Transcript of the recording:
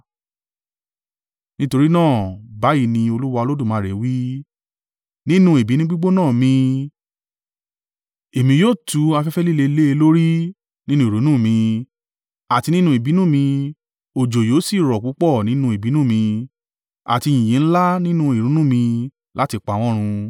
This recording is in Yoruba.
“ ‘Nítorí náà, báyìí ni Olúwa Olódùmarè wí, Nínú ìbínú gbígbóná mi, èmi yóò tu afẹ́fẹ́ líle lé e lórí nínú ìrunú mi, àti nínú ìbínú mi, òjò yóò sì rọ̀ púpọ̀ nínú ìbínú mi, àti yìnyín ńlá nínú ìrunú mi láti pa wọ́n run.